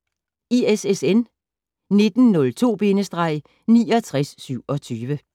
ISSN 1902-6927